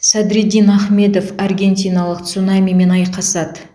садриддин ахмедов аргентиналық цунамимен айқасады